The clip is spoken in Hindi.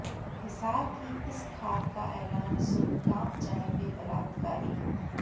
हिसार की इस खाप का ऐलान सुन कांप जाएंगे बलात्कारी